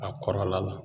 A kɔrɔla la